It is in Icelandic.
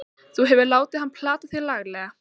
Þú hefur látið hann plata þig laglega!